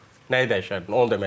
Nəyi dəyişərdin onu demək istəyirəm.